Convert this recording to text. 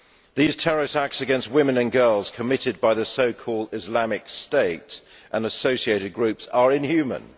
These terror attacks against women and girls, committed by the so called Islamic State and associated groups, are inhuman.